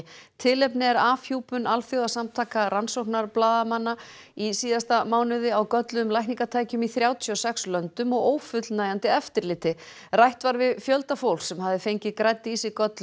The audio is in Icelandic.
tilefnið er afhjúpun Alþjóðasamtaka rannsóknarblaðamanna í síðasta mánuði á gölluðum lækningatækjum í þrjátíu og sex löndum og ófullnægjandi eftirliti rætt var við fjölda fólks sem hafði fengið grædd í sig gölluð